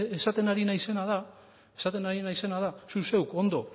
ez ni esaten ari naizena da zu zeuk ondo